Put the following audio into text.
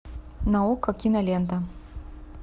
на окко кинолента